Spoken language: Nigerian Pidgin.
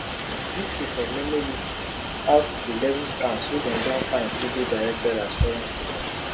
di uk for memo list out di level scams wey dem don find say dey directed as foreign students